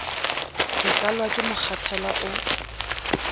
ke tlalwa ke mokgathala o